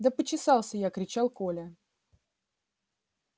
да почесался я кричал коля